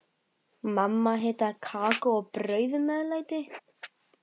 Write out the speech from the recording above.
Mamma hitaði kakó og bauð meðlæti.